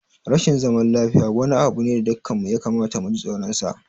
Rashin zaman lafiya wani abu ne da dukanmu ya kamata mu ji tsoronsa.